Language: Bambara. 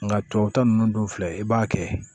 Nka tubabuta ninnu dun filɛ i b'a kɛ